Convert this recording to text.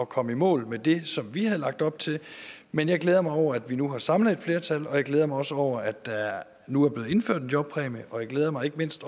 komme i mål med det som vi havde lagt op til men jeg glæder mig over at vi nu har samlet et flertal og jeg glæder mig også over at der nu er blevet indført en jobpræmie og jeg glæder mig ikke mindst